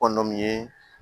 Kɔnɔ min ye